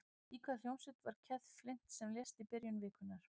Í hvaða hljómsveit var Keith Flint sem lést í byrjun vikunnar?